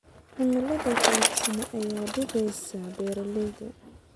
Cimilada qallafsan ayaa dhibaysa beeralayda.